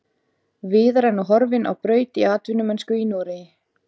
Viðar er nú horfinn á braut í atvinnumennsku í Noregi.